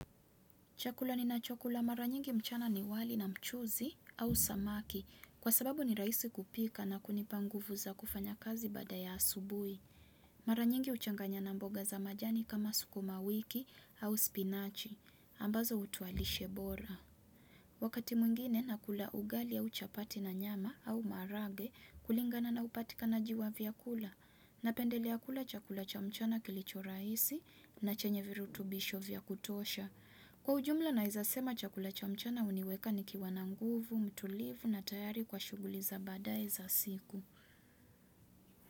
Chakula ninachakula mara nyingi mchana ni wali na mchuzi au samaki. Kwa sababu ni raisi kupika na kunipa nguvu za kufanya kazi baada ya asubuhi. Mara nyingi huchanganya na mboga za majani kama sukuma wiki au spinachi ambazo hutoa lishe bora. Wakati mwingine nakula ugali au chapati na nyama au maharagwe, kulingana na upatikanaji wa vyakula napendelea kula chakula cha mchana kilicho rahisi na chenye virutubisho vya kutosha. Kwa ujumla naweza sema chakula cha mchana huniweka nikiwa na nguvu, mtulivu na tayari kwa shughuli za baadae za siku.